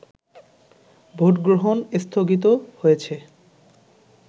ভোটগ্রহণ স্থগিত হয়েছে